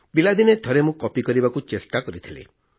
ପିଲାଦିନେ ଥରେ ମୁଁ କପି କରିବାକୁ ଚେଷ୍ଟା କରିଥିଲି